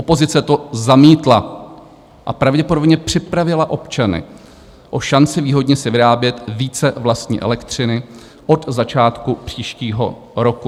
Opozice to zamítla a pravděpodobně připravila občany o šanci výhodně si vyrábět více vlastní elektřiny od začátku příštího roku."